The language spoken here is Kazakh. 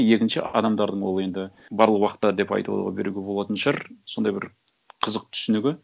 екінші адамдардың ол енді барлық уақытта деп айта беруге болатын шығар сондай бір қызық түсінігі